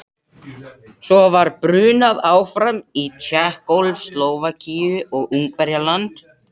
Svo var brunað áfram yfir Tékkóslóvakíu og Ungverjaland.